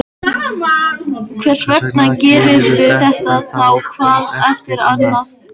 Hversvegna gerirðu þetta þá hvað eftir annað?